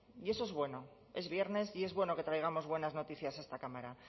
y eso es bueno es viernes y es bueno que traigamos buenas noticias a esta cámara